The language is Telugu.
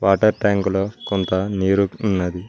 వాటర్ ట్యాంక్ లో కొంత నీరు ఉన్నాది.